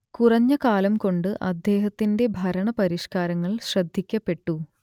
കുറഞ്ഞ കാലം കൊണ്ട് അദ്ദേഹത്തിന്റെ ഭരണ പരിഷ്കാരങ്ങൾ ശ്രദ്ധിക്കപ്പെട്ടു